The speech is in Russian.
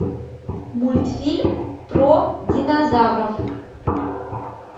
мультфильм про динозавров